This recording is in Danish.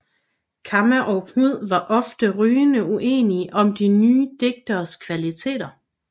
Kamma og Knud var ofte rygende uenige om de nye digteres kvaliteter